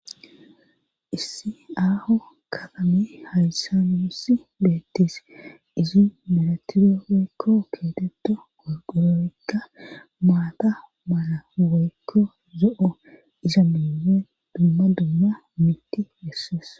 issi aaho katame hayssa nuussi beettis izi milatide woykko keetetto gorqoroykka maata mala woykko zo7o iza mime dumma dumma mitti hessees